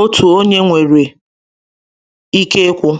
otu onye nwere ike ikwu.